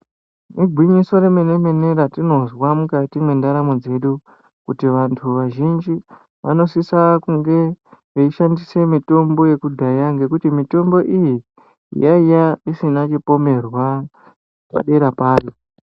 Igwinyiso remene mene ratinozwa mwukati mwendaramo dzedu, kuti vantu vazhinji vanosise kunge veishandisa mitombo yekudhaya peya ngekuti mitombo yaiya isina chipomerwa padera payo.